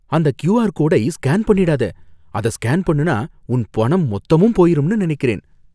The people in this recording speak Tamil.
அந்த க்யூஆர் கோடை ஸ்கேன் பண்ணிடாத. அத ஸ்கேன் பண்ணுனா உன் பணம் மொத்தமும் போயிரும்னு நனைக்கறேன்.